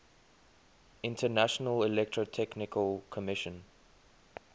international electrotechnical commission